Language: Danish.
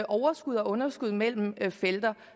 overskud og underskud mellem felter